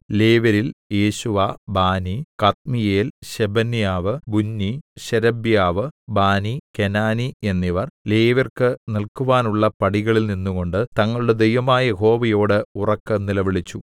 ലേവ്യരിൽ Jeshua Bani Kadmiel Shebaniah Bunni Sherebiah Bani Kenani എന്നിവർ ലേവ്യർക്ക് നിൽക്കുവാനുള്ള പടികളിൽ നിന്നുകൊണ്ട് തങ്ങളുടെ ദൈവമായ യഹോവയോട് ഉറക്കെ നിലവിളിച്ചു